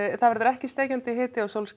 það verður ekki steikjandi hiti og sólskin